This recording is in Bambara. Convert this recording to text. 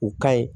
U ka ɲi